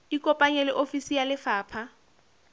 ikopanye le ofisi ya lefapha